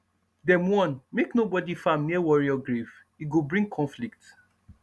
dem warn make nobody farm near warrior grave e go bring conflict